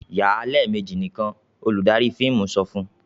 "Yà á lẹ́ẹ̀mejì nìkan!" Olùdarí fíìmù sọ fun..